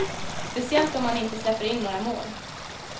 Speciellt om han inte släpper in några mål.